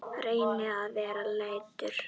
Reynir að vera léttur.